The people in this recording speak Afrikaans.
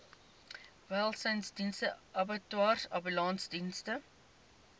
welsynsdienste abattoirs ambulansdienste